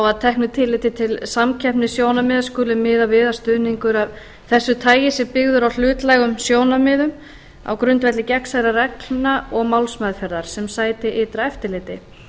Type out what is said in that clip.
að teknu tilliti til samkeppnissjónarmiða skuli miðað við að stuðningur af þessu tagi sé byggður á hlutlægum sjónarmiðum á grundvelli gegnsærra reglna og málsmeðferðar sem sæti ytra eftirliti